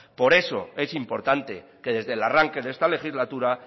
por eso es importante que desde el arranque de esta legislatura